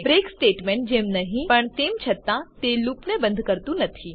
break statement જેમ નહિં પણ તેમ છતાં તે લૂપને બંધ કરતું નથી